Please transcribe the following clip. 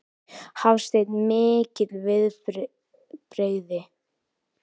Hafsteinn: Mikil viðbrigði?